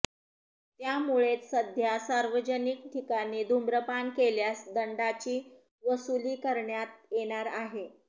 त्यामुळेच सध्या सार्वजनिक ठिकाणी धुम्रपान केल्यास दंडाची वसूली करण्यात येणार आहे